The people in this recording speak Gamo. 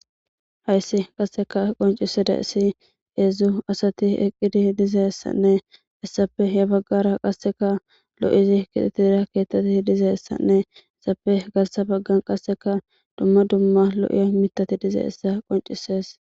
Hayssi qasseka qoncisida issi geedzdzu asati eqqidi dizeessanne issape ya baggara qasseka lo'izi kixitira keettati dizeessanne essape gassa baggan qasseka dumma dumma lo'ia mitati dize issa qoncisees.